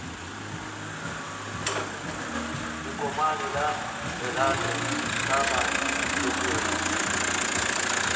lekomane la lerato ka magetleng